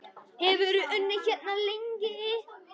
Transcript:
Hefurðu unnið hérna lengi?